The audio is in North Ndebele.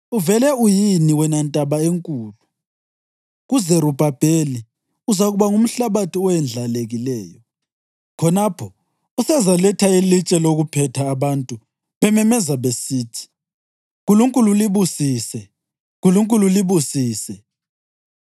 Uvele uyini, wena ntaba enkulu? KuZerubhabheli uzakuba ngumhlabathi owendlalekileyo. Khonapho usezaletha ilitshe lokuphetha abantu bememeza besithi, ‘Nkulunkulu libusise! Nkulunkulu libusise!’ ”